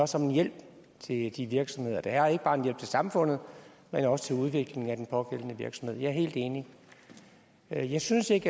som en hjælp til de virksomheder der er ikke bare en hjælp til samfundet men også til udvikling af den pågældende virksomhed jeg er helt enig jeg jeg synes ikke